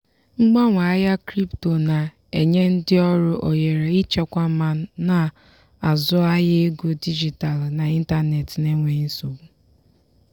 mgbanwe ahịa crypto na-enye ndị ọrụ ohere ịchekwa ma na-azụ ahịa ego dijitalụ n'ịntanetị n'enweghị nsogbu.